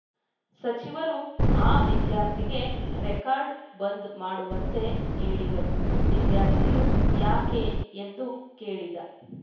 ಸಚಿವರು ಆ ವಿದ್ಯಾರ್ಥಿಗೆ ರೆಕಾರ್ಡ ಬಂದ್‌ ಮಾಡುವಂತೆ ಹೇಳಿದರು ವಿದ್ಯಾರ್ಥಿಯು ಯಾಕೆ ಎಂದು ಕೇಳಿದ